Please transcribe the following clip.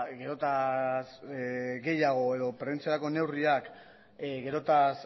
gehiago edo prebentziorako neurriak geroz eta